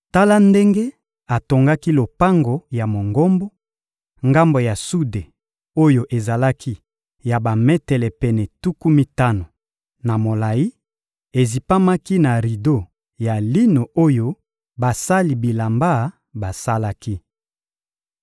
Tala ndenge atongaki lopango ya Mongombo: ngambo ya sude oyo ezalaki ya bametele pene tuku mitano na molayi, ezipamaki na rido ya lino oyo basali bilamba basalaki.